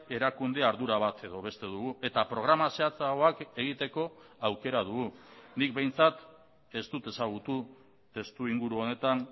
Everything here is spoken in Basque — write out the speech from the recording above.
erakunde ardura bat edo beste dugu eta programa zehatzagoak egiteko aukera dugu nik behintzat ez dut ezagutu testuinguru honetan